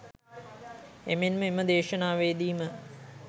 එමෙන්ම එම දේශනාවේදීම